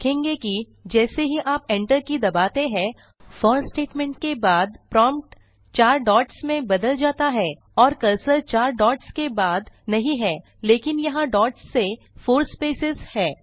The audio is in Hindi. आप देखेंगे कि जैसे ही आप enter के दबाते हैं फोर स्टेटमेंट के बाद प्रॉम्प्ट चार डॉट्स में बदल जाता है और कर्सर चार डॉट्स के बाद नहीं है लेकिन यहाँ डॉट्स से फोर स्पेसेज हैं